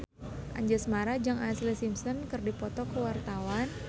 Anjasmara jeung Ashlee Simpson keur dipoto ku wartawan